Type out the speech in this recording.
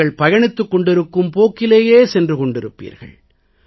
நீங்கள் பயணித்துக் கொண்டிருக்கும் போக்கிலேயே சென்று கொண்டிருப்பீர்கள்